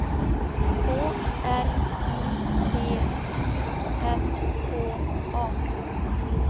K R I T I S K A